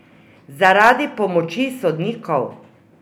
Zaradi pomoči sodnikov?